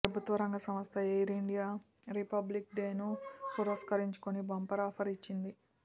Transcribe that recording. ప్రభుత్వ రంగ సంస్థ ఎయిరిండియా రిపబ్లిక్ డేను పురస్కరించుకుని బంపర్ ఆఫర్ ఇచ్చింది